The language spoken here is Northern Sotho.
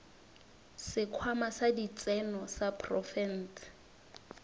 sekhwama sa ditseno sa profense